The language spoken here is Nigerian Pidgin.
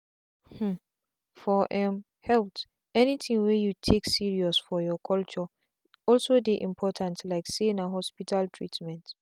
hmmmfor um health anything wey you take serious for your culture also dey important like say na hospital treatment.